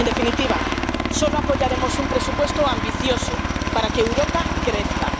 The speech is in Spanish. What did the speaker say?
En definitiva, solo apoyaremos un presupuesto ambicioso para que Europa crezca.